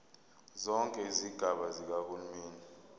zonke izigaba zikahulumeni